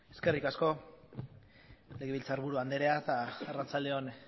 eskerrik asko legebiltzarburu anderea eta arratsalde on